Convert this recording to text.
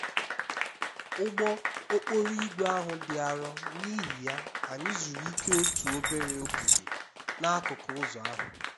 ụgbọ okporo ígwè ahụ dị arọ n'ihi ya anyị zuru ike n'otu obere ogige dị n'akụkụ ụzọ ahụ